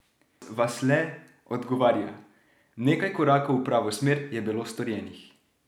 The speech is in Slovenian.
Vasle odgovarja: "Nekaj korakov v pravo smer je bilo storjenih.